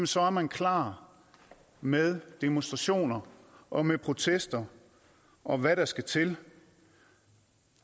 så er man klar med demonstrationer og med protester og hvad der skal til